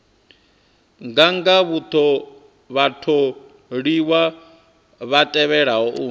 nganga vhatholiwa vha tevhelaho u